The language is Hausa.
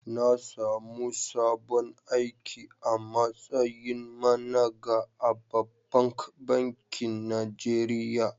Na samu sabon aiki a mastayin managa a ɓabbank bankin Najeriya.